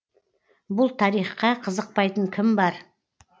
бұл тарихқа қызықпайтын кім бар